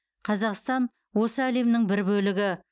қазақстан осы әлемнің бір бөлігі